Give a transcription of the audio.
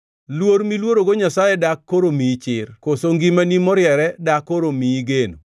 Luor miluorogo Nyasaye dak koro miyi chir koso ngimani moriere dak koro miyi geno?